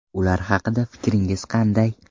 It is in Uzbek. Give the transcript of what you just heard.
Ular haqida fikringiz qanday?